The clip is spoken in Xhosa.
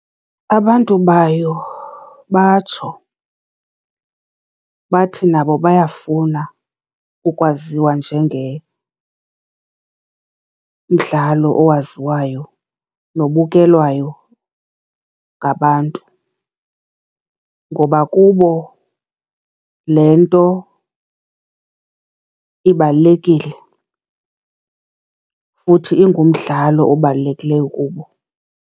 Abantu bayo batsho bathi nabo bayafuna ukwaziwa njengemdlalo owaziwayo nobukelwayo ngabantu. Ngoba kubo le nto ibalulekile futhi, ingumdlalo obalulekileyo kubo.